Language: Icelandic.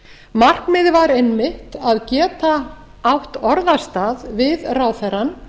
markmiðið var einmitt að geta átt orðastað við ráðherrann